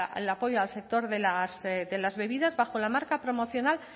para el apoyo al sector de las bebidas bajo la marca promocional